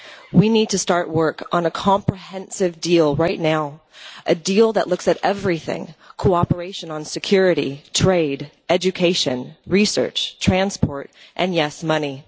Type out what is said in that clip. We need to start work on a comprehensive deal right now, a deal that looks at everything cooperation on security, trade, education, research, transport and, yes, money.